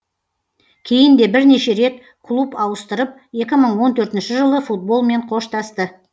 кейін де бірнеше рет клуб ауыстырып екі мың он төртінші жылы футболмен қоштасты